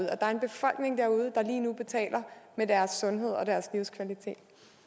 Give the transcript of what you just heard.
der er en befolkning derude der lige nu betaler med deres sundhed og deres livskvalitet